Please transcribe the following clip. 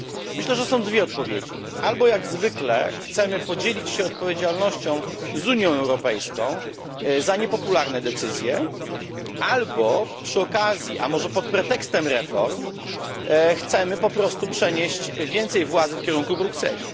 Myślę, że są dwie odpowiedzi jak zwykle chcemy podzielić się odpowiedzialnością z Unią Europejską za niepopularne decyzje albo przy okazji, a może pod pretekstem reform, chcemy po prostu przenieść więcej władzy w kierunku Brukseli.